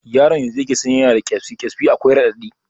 Yaron yanzu yake sani yana da ƙesbi, ƙesbi akwai raɗaɗi